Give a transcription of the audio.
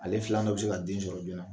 Ale filan dɔ bɛ se ka den sɔrɔ joona